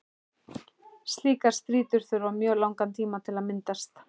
Slíkar strýtur þurfa mjög langan tíma til að myndast.